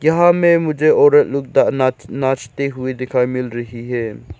जहां में मुझे औरत ना नाचते हुए दिखाई मिल रही है।